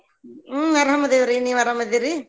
ಹ್ಮ್‌ ಆರಾಮ ಅದೇವ್ರಿ ನೀವ್ ಆರಾಮ ಅದೇರಿ?